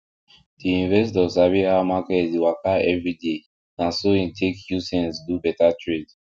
the investor sabi how market dey waka every day na so in take use sense do better trade